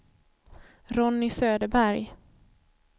Ronny Söderberg